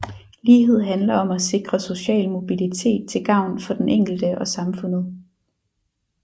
Lighed handler om at sikre social mobilitet til gavn for den enkelte og samfundet